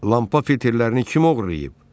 Lampa filterlərini kim oğurlayıb?